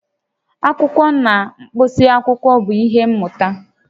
Akwụkwọ na mkpịsị akwụkwọ bụ ihe mmụta